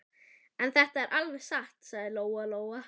En þetta er alveg satt, sagði Lóa Lóa.